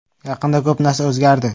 Yaqinda ko‘p narsa o‘zgardi.